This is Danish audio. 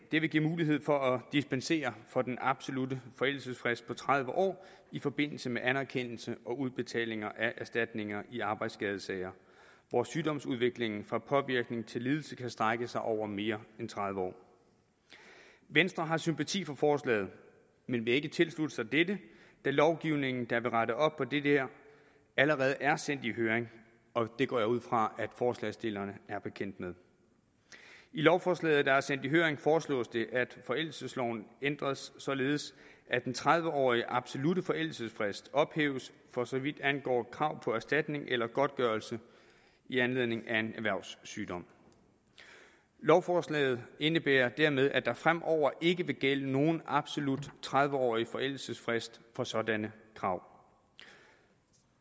vil give mulighed for at dispensere for den absolutte forældelsesfrist på tredive år i forbindelse med anerkendelse og udbetaling af erstatninger i arbejdsskadesager hvor sygdomsudviklingen fra påvirkning til lidelse kan strække sig over mere end tredive år venstre har sympati for forslaget men vil ikke tilslutte sig dette da lovgivningen der vil rette op på det her allerede er sendt i høring og det går jeg ud fra at forslagsstillerne er bekendt med i lovforslaget der er sendt i høring foreslås det at forældelsesloven ændres således at den tredive årige absolutte forældelsesfrist ophæves for så vidt angår krav på erstatning eller godtgørelse i anledning af en erhvervssygdom lovforslaget indebærer dermed at der fremover ikke vil gælde nogen absolut tredive årig forældelsesfrist for sådanne krav